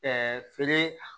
feere